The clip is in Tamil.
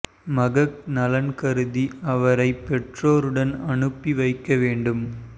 மகக் நலன் கருதி அவரை பெற்றோருடன் அனுப்பி வைக்க வேண்டும்